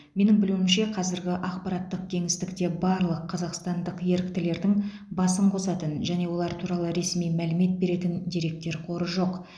менің білуімше қазіргі ақпараттық кеңістікте барлық қазақстандық еріктілердің басын қосатын және олар туралы ресми мәлімет беретін деректер қоры жоқ